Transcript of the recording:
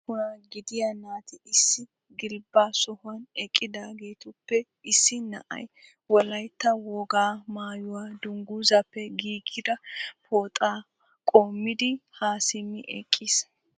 Qoodan ussuuppun gidiyaa naati issi gilbba sohuwan eqqidaagetuppe issi na'ay Wolaytta wogaa maayyuwaa dungguzappe giigigi pooxaa qumayyidi ha simmi eqqiis.